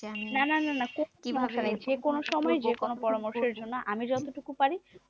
না না না না যে কোনো সময় যে কোনো পরামর্শের জন্য আমি যতটুকু পারি